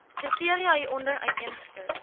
kriteria hieronder uiteengesit